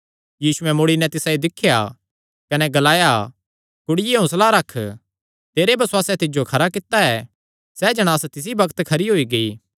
यीशुयैं मुड़ी नैं तिसायो दिख्या कने ग्लाया कुड़िये हौंसला रख तेरे बसुआसैं तिज्जो खरा कित्ता ऐ सैह़ जणांस तिसी बग्त खरी होई गेई